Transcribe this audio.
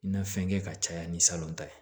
Na fɛn kɛ ka caya ni salon ta ye